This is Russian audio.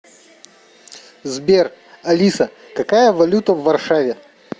сбер алиса какая валюта в варшаве